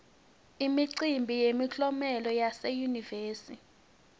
imicimbi yemiklomelo yase yunivesi